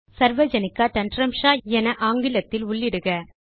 சர்வஜனிகா தந்திராம்ஷா என ஆங்கிலத்தில் உள்ளிடுங்கள்